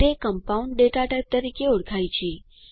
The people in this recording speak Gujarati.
તે કમ્પાઉન્ડ data ટાઇપ તરીકે ઓળખાય છે